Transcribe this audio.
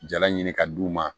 Jala ɲini ka d'u ma